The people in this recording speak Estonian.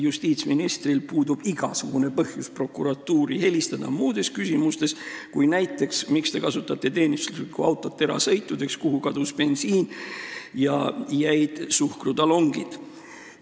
Justiitsministril puudub igasugune põhjus prokuratuuri helistada muudes küsimustes kui näiteks uurimaks, miks nad kasutavad teenistusautot erasõitudeks, kuhu kadus bensiin ja jäid suhkrutalongid.